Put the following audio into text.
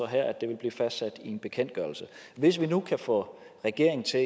her at det vil blive fastsat i en bekendtgørelse hvis vi nu kan få regeringen til